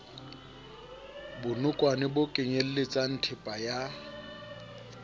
bonokwane bo kenyeletsang thepa ya